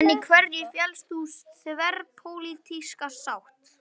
En í hverju felst sú þverpólitíska sátt?